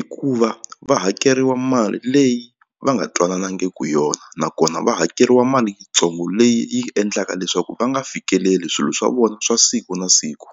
i kuva va hakeriwa mali leyi va nga twananangiku yona nakona va hakeriwa mali yitsongo leyi yi endlaka leswaku va nga fikeleli swilo swa vona swa siku na siku.